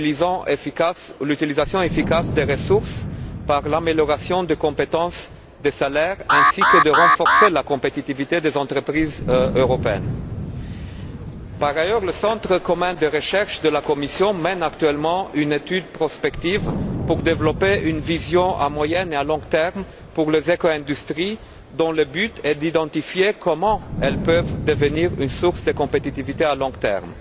et l'utilisation efficace des ressources par l'amélioration des compétences des salariés, et ainsi de renforcer la compétitivité des entreprises européennes. Par ailleurs, le centre commun de de recherche de la Commission mène actuellement une étude prospective pour développer une vision à moyen et à long terme pour les éco industries, dont le but est d'identifier comment elles peuvent devenir une source de compétitivité à long terme.